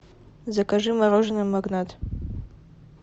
закажи мороженое магнат